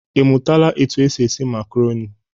Ị mụtala etu e si esi makaroni?